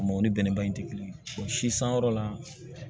A mɔw ni bɛnɛba in te kelen ye si sanyɔrɔ la